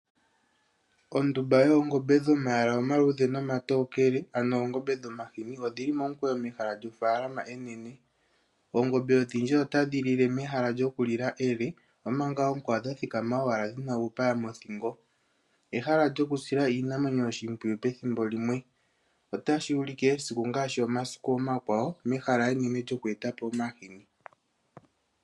Ondumba yoongombe dhomayala omaluudhe nomatokele, ano oongombe dhoomahini Odhi li momukweyo mehala lyofaalama enene. Oongombe odhindji otadhi lile mehala lyokulila ele, omanga oonkwawo dha thikama owala dhi na uupaya moothingo. Ehala lyokusila iinamwenyo oshimpwiyu pethimbo limwe. Otashi ulike esiku ngaashi omasiku omakwawo mehala enene lyokweeta po omahini.